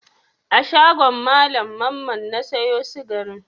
A shagon Mallam Mamman na sayo sikarin?